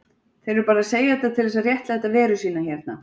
Þeir eru bara að segja þetta til þess að réttlæta veru sína hérna.